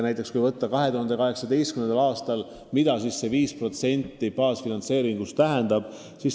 Mida aastal 2018 see 5% baasfinantseeringust tähendab?